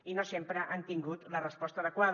i no sempre han tingut la resposta adequada